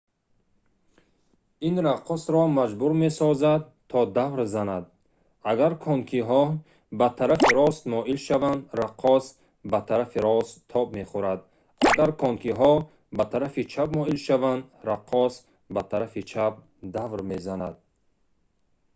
ин раққосро маҷбур месозад то давр занад агар конкиҳо ба тарафи рост моил шаванд раққос ба тарафи рост тоб мехӯрад агар конкиҳо ба тарафи чап моил шаванд раққос ба тарафи чап давр мезанад